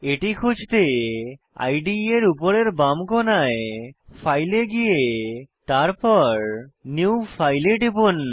এটি খুঁজতে ইদে এর উপরের বাম কোণায় ফাইল এ গিয়ে তারপর নিউ ফাইল এ টিপুন